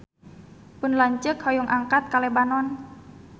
Pun lanceuk hoyong angkat ka Lebanon